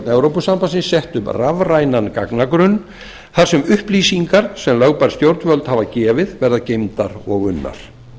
framkvæmdastjórnin sett upp rafrænan gagnagrunn þar sem upplýsingar sem lögbær stjórnvöld hafa gefið verða geymdar og unnar